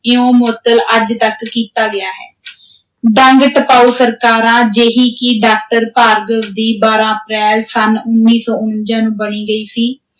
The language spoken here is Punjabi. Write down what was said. ਇਉਂ ਮੁਅੱਤਲ ਅੱਜ ਤਕ ਕੀਤਾ ਗਿਆ ਹੈ ਡੰਗ-ਟਪਾਊ ਸਰਕਾਰਾਂ, ਜਿਹੀ ਕਿ ਡਾਕਟਰ ਭਾਰਗਵ ਦੀ, ਬਾਰਾਂ ਅਪ੍ਰੈਲ ਸੰਨ ਉੱਨੀ ਸੌ ਉਣੰਜਾ ਨੂੰ ਬਣ ਗਈ ਸੀ,